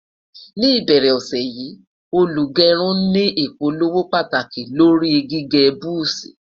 ní ìbẹrẹ ọsẹ yi, olugerun ní ìpolówó pàtàkì lórí gígé buzi